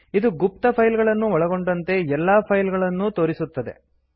ಇದು ಗುಪ್ತ ಫೈಲ್ ಗಳನ್ನೂ ಒಳಗೊಂಡಂತೆ ಎಲ್ಲಾ ಫೈಲ್ ಗಳನ್ನೂ ತೋರಿಸುತ್ತದೆ